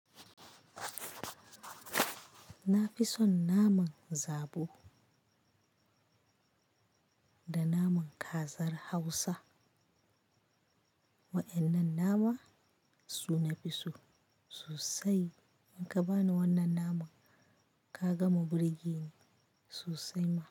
Na fi son naman zobo da naman kazar Hausa. Waƴannan nama su nafi so sosai. In ka bani wannan naman ka gama birge ne sosai ma.